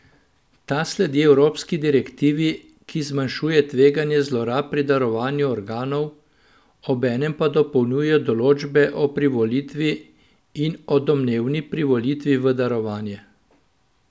Ta sledi evropski direktivi, ki zmanjšuje tveganje zlorab pri darovanju organov, obenem pa dopolnjuje določbe o privolitvi in o domnevni privolitvi v darovanje.